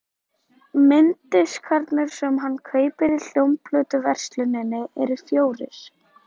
Mynddiskarnir sem hann kaupir í hljómplötuversluninni eru fjórir.